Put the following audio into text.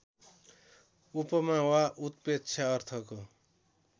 उपमा वा उत्प्रेक्षा अर्थको